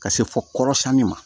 Ka se fɔ kɔrɔsɛni ma